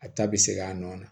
A ta bɛ seg'a nɔ na